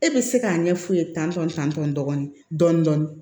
E bɛ se k'a ɲɛf'u ye tan tɔn tan tɔn dɔɔnin dɔɔnin